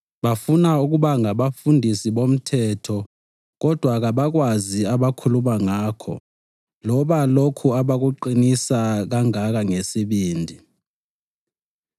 Bafuna ukuba ngabafundisi bomthetho kodwa kabakwazi abakhuluma ngakho loba lokhu abakuqinisa kangaka ngesibindi.